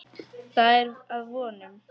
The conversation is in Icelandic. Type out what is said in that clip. Það er að vonum.